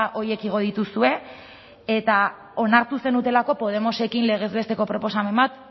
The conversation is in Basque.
horiek igo dituzue eta onartu zenutelako podemosekin legez besteko proposamen bat